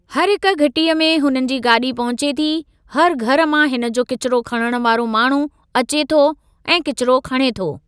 हर हिक घिटीअ में हुननि जी गाॾी पहुचे थी हर घरु मां हिन जो किचिरो खणणु वारो माण्हू अचे थो ऐं किचिरो ख़णे थो।